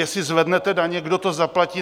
Jestli zvednete daně, kdo to zaplatí?